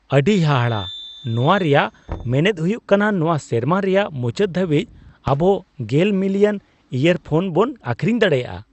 ᱟᱹᱰᱤ ᱦᱟᱦᱟᱲᱟ ! ᱱᱚᱶᱟ ᱨᱮᱭᱟᱜ ᱢᱮᱱᱮᱫ ᱦᱩᱭᱩᱜ ᱠᱟᱱᱟ ᱱᱚᱶᱟ ᱥᱮᱨᱢᱟ ᱨᱮᱭᱟᱜ ᱢᱩᱪᱟᱹᱫ ᱫᱷᱟᱹᱵᱤᱡ ᱟᱵᱚ ᱑᱐ ᱢᱤᱞᱤᱭᱚᱱ ᱤᱭᱟᱨᱯᱷᱚᱱ ᱵᱚᱱ ᱟᱹᱠᱷᱨᱤᱧ ᱫᱟᱲᱮᱹᱭᱟᱜᱼᱟ ᱾